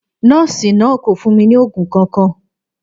Nọọsi naa ko fun mi ni oogun kankan.